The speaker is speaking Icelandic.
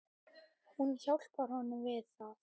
Hún hjálpar honum við það.